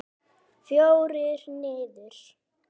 Fjórir niður!